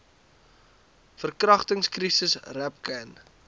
verkragtings krisis rapcan